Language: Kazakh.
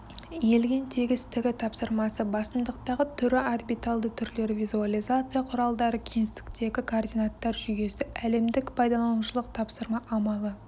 иілген тегістігі тапсырмасы басымдықтағы түрі орбитальді түрлері визуализация құралдары кеңістіктегі координаттар жүйесі әлемдік пайдаланушылық тапсырма амалы